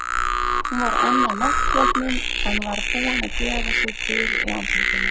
Hún var enn á náttsloppnum, en var búin að gera sig til í andlitinu.